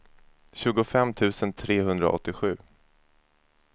tjugofem tusen trehundraåttiosju